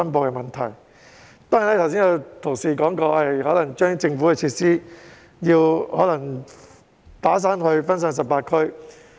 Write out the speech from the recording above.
剛才有同事提議將政府的設施"打散"，分散至18區。